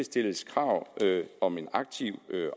stilles krav om en aktiv